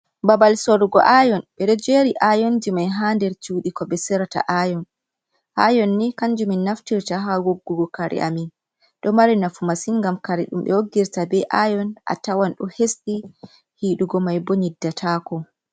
Babal sorrgo ayon ɓe ɗoo jeri ayonji mai ha nder cuuɗi, ko ɓe sorrata ayon ayon ni kanjum min naftirta ha wooggugo kare amin, ɗo mari nafu masin, gam kare dumbe woggirta be ayon a tawan do hesɗi hiɗuugo mai bo nyiddatako.